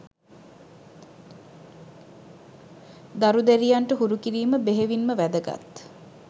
දරු දැරියන්ට හුරු කිරීම බෙහෙවින්ම වැදගත්